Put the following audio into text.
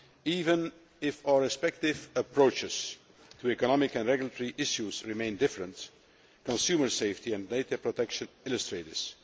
Even if our respective approaches to economic and regulatory issues remain different, consumer safety and data protection illustrate this.